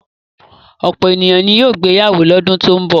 Ọ̀pọ̀lọpọ̀ ènìyàn ni yóò gbéyàwó lọ́dún tó ń bọ̀.